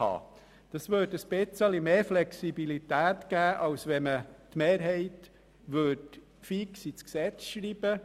Dies würde etwas mehr Flexibilität erlauben, als wenn man die Mehrheit fix ins Gesetz schreibt.